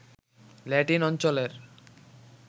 Latin অঞ্চলের